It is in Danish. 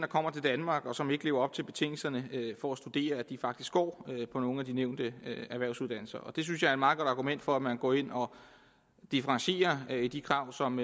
kommer til danmark og som ikke lever op til betingelserne for at studere faktisk går på nogle af de nævnte erhvervsuddannelser og det synes jeg er et meget godt argument for at man går ind og differentierer i de krav som